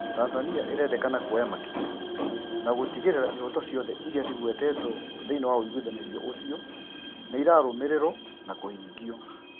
"Tanzani irendekana kuoya makinya na kũhakikisha ĩhoto ciothe iri ciguetetwo thiinie wa maiguithanio macio nimarbuatwo ma kũhingio